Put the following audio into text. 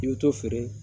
I bɛ to feere